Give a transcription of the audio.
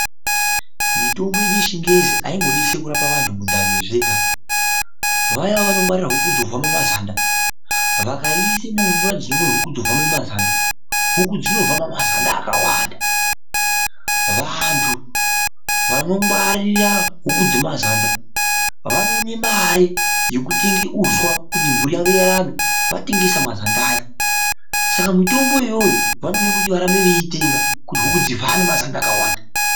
Mutombo yedu yechingezi aingo detseri kurapa antu mundani zvega. Vaya vanongwarira huku dzovhama mazanda, vakaiisa muhuku dzovhama mazanda, huku dzinovhama mazanda akawanda. Vantu vanongwarira huku dzemazanda vanoona mare yekutenga uswa kuti mburi yawo irarame vatengesa mazanda aya. Saka mitombo iyoyovanoda kuti varambe veiitenga kuti huku dzivhame mazanda akawanda .